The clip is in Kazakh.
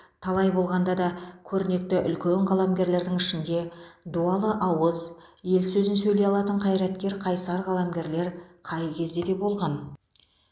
қалай болғанда да көрнекті үлкен қаламгерлердің ішінде дуалы ауыз ел сөзін сөйлей алатын қайраткер қайсар қаламгерлер қай кезде де болған